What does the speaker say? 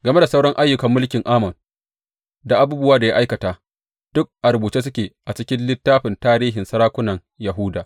Game da sauran ayyukan mulkin Amon, da abubuwan da ya aikata, duk a rubuce suke a cikin littafin tarihin sarakunan Yahuda.